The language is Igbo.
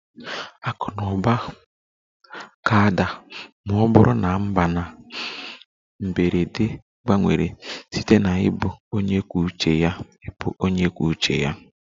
Akụ na ụba ga-ada ma ọ bụrụ na mba na mberede gbanwere site na ịbụ onye kwuo uche ya ịbụ onye kwuo uche ya